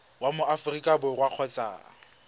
wa mo aforika borwa kgotsa